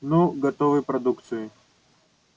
ну готовой продукцией